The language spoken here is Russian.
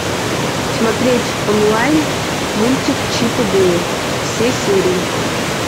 смотреть онлайн мультик чип и дейл все серии